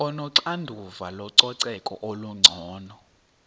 onoxanduva lococeko olungcono